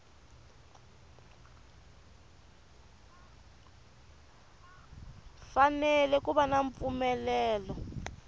fanele ku va na mpfumelelo